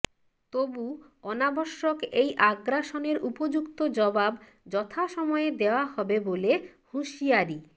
তবু অনাবশ্যক এই আগ্রাসনের উপযুক্ত জবাব যথাসময়ে দেওয়া হবে বলে হুঁশিয়ারি